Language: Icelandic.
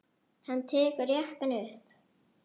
Hann tekur jakkann upp.